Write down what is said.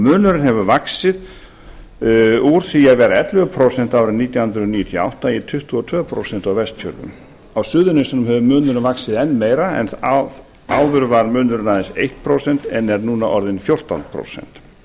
munurinn hefur vaxið úr því að vera ellefu prósent árið nítján hundruð níutíu og átta í tuttugu og tvö prósent á vestfjörðum á suðurnesjum hefur munurinn vaxið enn meira en áður var munurinn aðeins eitt prósent en er núna orðinn fjórtán prósent